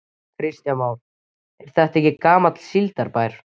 Kristján Már: Er þetta ekki gamall síldarbær?